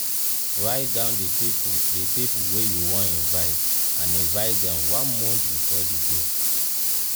write down di pipo di pipo wey you won invite and invite dem one month before di day